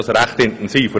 Es ist recht intensiv.